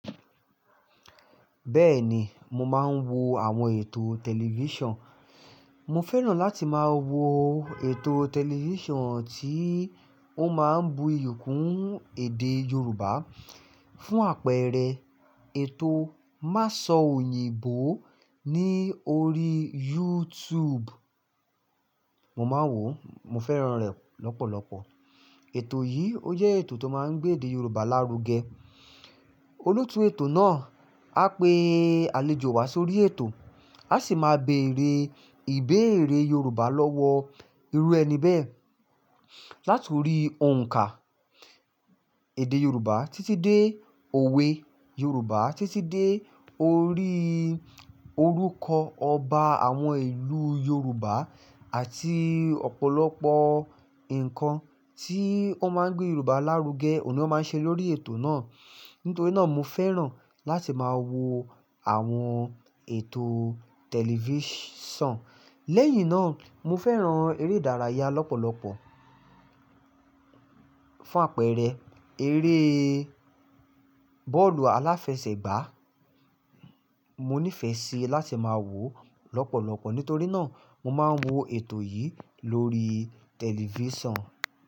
Bẹ́ẹ̀ni, mo máa ń wo àwọn ètò tẹlifíṣàn. Mo fẹ́ràn láti máa wo ètò tẹlifíṣàn tí ó máa ń bu iyì kún èdè Yorùbá. Fún àpẹẹrẹ ètò "Má Sọ Òyìnbó" ní orí YouTube. Mo máa ń wò ó, mo fẹ́ràn rẹ̀ lọ́pọ̀lọpọ̀. Ètò yìí ó jẹ́ ètò tó máa ń gbé èdè Yorùbá lárugẹ. Olótùú ètò náà á pe àlejò wá sórí ètò, a sì máa bẹ ère ìbéèrè Yorùbá lọ́wọ́ irú ẹni bẹ́ẹ̀. Láti orí òǹkà èdè Yorùbá títí dé òwe Yorùbá títí dé orí orúkọ ọba àwọn ìlú Yorùbá àti ọ̀pọ̀lọpọ̀ nǹkan tí ó máa ń gbé Yorùbá lárugẹ, òun ni wón máa ń ṣe lórí ètò náà. Nítorí náà mo fẹ́ràn láti máa wo àwọn ètò tẹlifíṣàn. Lẹ́yìn náà mo fẹ́ràn eré ìdárayá lọ́pọ̀lọpọ̀. Fún àpẹẹrẹ eré bọ́ọ̀lù aláfẹsẹ̀gbá. Mo nífẹ̀ẹ́ sí i láti máa wò ó lọ́pọ̀lọpọ̀. Nítorí náà mo máa ń wo ètò yìí lórí tẹlifíṣàn.